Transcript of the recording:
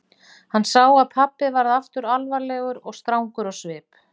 Hann sá að pabbi varð aftur alvarlegur og strangur á svip.